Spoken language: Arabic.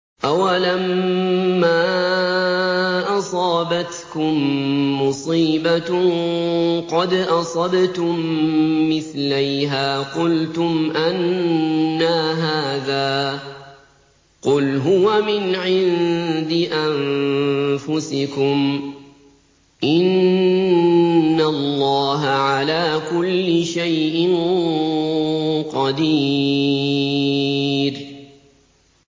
أَوَلَمَّا أَصَابَتْكُم مُّصِيبَةٌ قَدْ أَصَبْتُم مِّثْلَيْهَا قُلْتُمْ أَنَّىٰ هَٰذَا ۖ قُلْ هُوَ مِنْ عِندِ أَنفُسِكُمْ ۗ إِنَّ اللَّهَ عَلَىٰ كُلِّ شَيْءٍ قَدِيرٌ